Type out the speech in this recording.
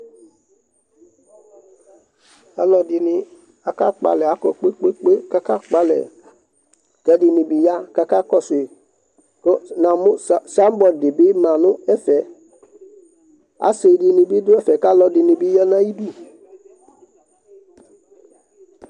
aluɛdɩnɩ ka kpɔ alɛ, kʊ alʊ nʊ ʊbʊna kakɔsu ma, ɛkʊɛdɩ bɩ ma nʊ ɛfɛ, asidɩnɩ bɩ dʊ ɛfɛ, kʊ aluɛdɩnɩ bɩ ya nʊ atamidu